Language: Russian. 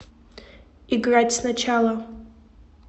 играть сначала